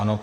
Ano.